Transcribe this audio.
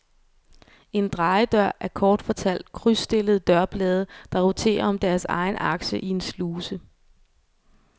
En drejedør er kort fortalt krydsstillede dørblade der roterer om deres egen akse i en sluse.